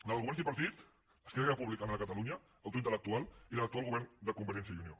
la del govern tripartit esquerra republicana de catalunya autor intel·lectual i la de l’actual govern de convergència i unió